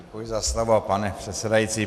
Děkuji za slovo, pane předsedající.